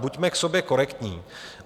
Buďme k sobě korektní.